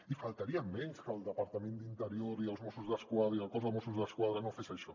i només faltaria que el departament d’interior i els mossos d’esquadra el cos de mossos d’esquadra no fessin això